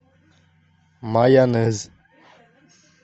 майонез